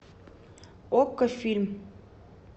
окко фильм